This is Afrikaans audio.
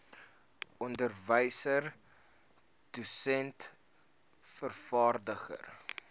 onderwyser dosent vervaardiger